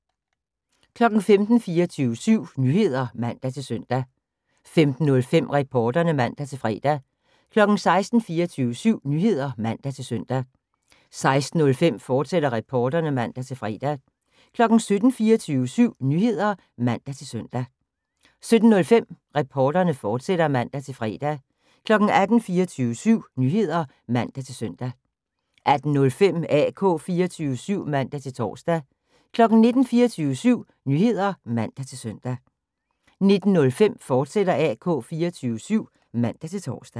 15:00: 24syv Nyheder (man-søn) 15:05: Reporterne (man-fre) 16:00: 24syv Nyheder (man-søn) 16:05: Reporterne, fortsat (man-fre) 17:00: 24syv Nyheder (man-søn) 17:05: Reporterne, fortsat (man-fre) 18:00: 24syv Nyheder (man-søn) 18:05: AK 24syv (man-tor) 19:00: 24syv Nyheder (man-søn) 19:05: AK 24syv, fortsat (man-tor)